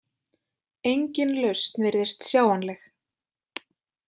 Engin lausn virðist sjáanleg.